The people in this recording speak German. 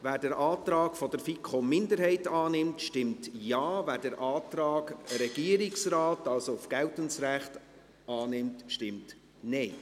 Wer den Antrag der FiKo-Minderheit annimmt, stimmt Ja, wer den Antrag des Regierungsrates auf geltendes Recht annimmt, stimmt Nein.